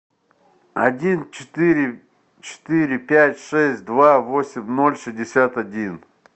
один четыре четыре пять шесть два восемь ноль шестьдесят один